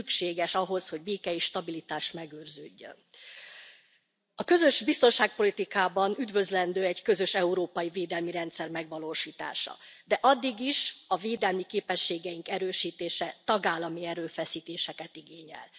Ez mind szükséges ahhoz, hogy béke és stabilitás megőrződjön. A közös biztonságpolitikában üdvözlendő egy közös európai védelmi rendszer megvalósítása. De addig is a védelmi képességeink erősítése tagállami erőfeszítéseket igényel.